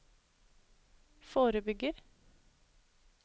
forebygger